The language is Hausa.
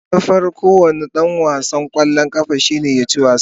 Manufar kowane dan wasan kwallon kafa shine ya ci wasa.